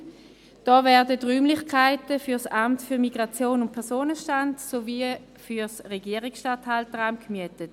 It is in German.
Hier werden Räumlichkeiten für das Amt für Migration und Personenstand (MIP) sowie für das Regierungsstatthalteramt gemietet.